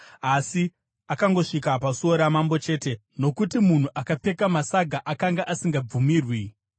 Asi akangosvika pasuo ramambo chete, nokuti munhu akapfeka masaga akanga asingabvumirwi kupinda.